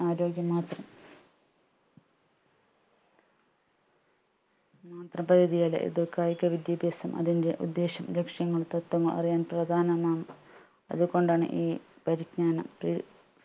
ആരോഗ്യം മാത്രം മാത്രം ഇതു കായിക വിദ്യാഭ്യാസം അതിന്റെ ഉദ്ദേശം ലക്ഷ്യങ്ങൾ തത്വങ്ങൾ അറിയാൻ പ്രധാനമാണ് അതുകൊണ്ടാണ് ഈ പരിജ്ഞാനത്തിൽ